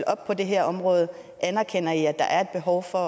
op på det her område anerkender i at der er behov for